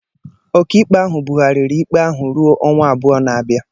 Ọkaikpe ahụ bugharịrị ikpe ahụ ruo ọnwa abụọ na-abịa